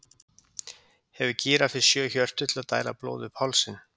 hefur gíraffi sjö hjörtu til að dæla blóði upp hálsinn